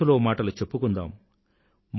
మనసులో మాటలు చెప్పుకుందాం